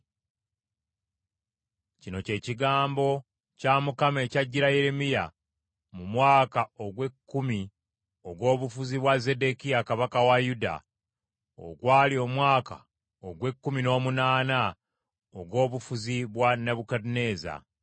Kino kye kigambo kya Mukama ekyajjira Yeremiya mu mwaka ogw’ekkumi ogw’obufuzi bwa Zeddekiya kabaka wa Yuda, ogwali omwaka ogw’ekkumi n’omunaana ogw’obufuzi bwa Nebukadduneeza.